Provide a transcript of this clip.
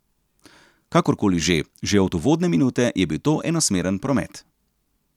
Kakorkoli že, že od uvodne minute je bil to enosmeren promet.